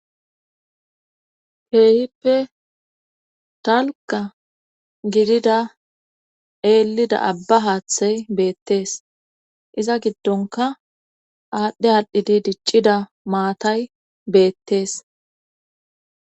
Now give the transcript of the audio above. keehippe talka gidida eelida abba haaththey beettees iza giddonka aadhdhe aadhdhidi diccida maatay beettees